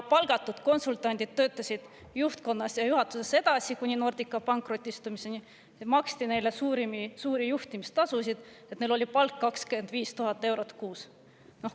Palgatud konsultandid töötasid juhtkonnas ja juhatuses edasi kuni Nordica pankrotistumiseni ja neile maksti suuri juhtimistasusid, nii et neil oli palk 25 000 eurot kuus.